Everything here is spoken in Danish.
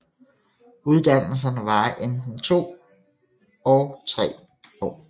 Uddannelserne varer enten 2 og 3 tre år